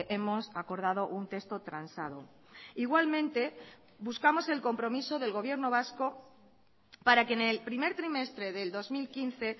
hemos acordado un texto transado igualmente buscamos el compromiso del gobierno vasco para que en el primer trimestre del dos mil quince